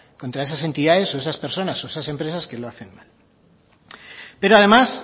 contra esas entidades o esas personas o esas empresas que lo hacen mal pero además